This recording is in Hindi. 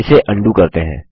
इसे अन्डू करते हैं